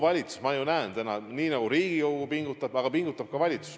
Ma ju näen täna, et Riigikogu pingutab, aga pingutab ka valitsus.